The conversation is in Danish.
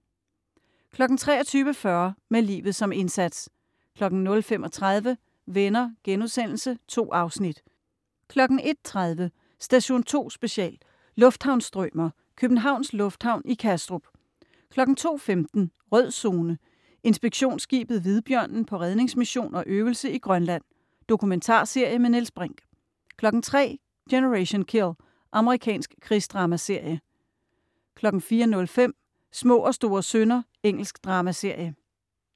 23.40 Med livet som indsats 00.35 Venner.* 2 afsnit 01.30 Station 2 Special: Lufthavnsstrømer. Københavns Lufthavn i Kastrup 02.15 Rød Zone: Inspektionsskibet Hvidbjørnen på redningsmission og øvelse i Grønland. Dokumentarserie med Niels Brinch 03.00 Generation Kill. Amerikansk krigsdramaserie 04.05 Små og store synder. Engelsk dramaserie